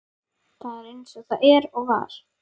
Það er eins og það er og var.